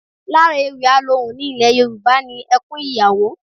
Lára ewì alohùn ní ilẹ̀ Yorùbá ni ẹkún ìyàwó